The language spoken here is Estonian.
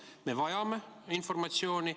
Me vajame informatsiooni.